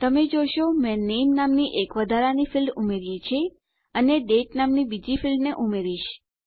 તમે જોશો મેં નામે નામની એક વધારાની ફીલ્ડ ઉમેર્યી છે અને દાતે નામની બીજી ફીલ્ડને ઉમેરીશ